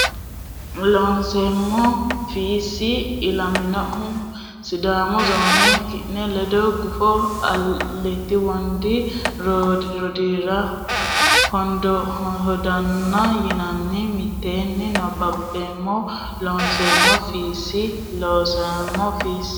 Loonseemmo Fiissi ilaminohu Sidaamu Zoone ki ne ledo gufo Alatti Wondi woradira Hoodanna yinanni mitteenni nabbambeemmo Loonseemmo Fiissi Loonseemmo Fiissi.